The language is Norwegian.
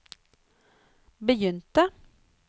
begynte